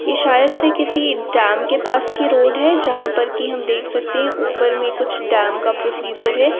यह शायद से किसी डैम के पास की रोड हैं जहा पर की हम देख सकते हैं ऊपर मैं कुछ डैम का प्रोसीजर हैं।